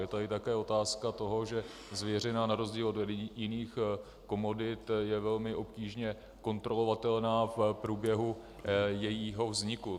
Je tady také otázka toho, že zvěřina na rozdíl od jiných komodit je velmi obtížně kontrolovatelná v průběhu jejího vzniku.